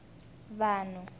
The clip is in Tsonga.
vanhu